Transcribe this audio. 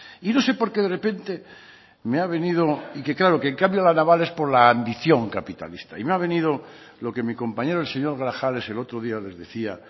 y no sé por qué de repente me ha venido y que claro que en cambio la naval es por la ambición capitalista y me ha venido lo que mi compañero el señor grajales el otro día les decía